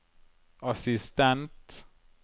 assistent